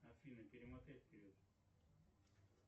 афина перемотай вперед